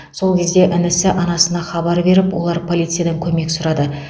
сол кезде інісі анасына хабар беріп олар полициядан көмек сұрады